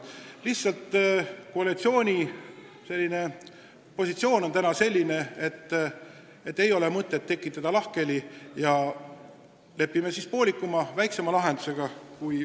Lihtsalt koalitsiooni positsioon on täna selline, et ei ole mõtet lahkhelisid tekitada, ja lepime siis pealegi pooliku lahendusega.